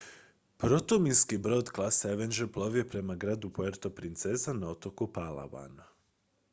protuminski brod klase avenger plovio je prema gradu puerto princesa na otoku palawan